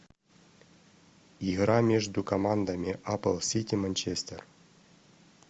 игра между командами апл сити манчестер